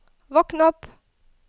våkn opp